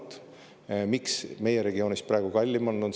Miks meie regioonis praegu kallim on?